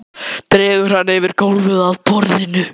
Dregur hana yfir gólfið að borðinu.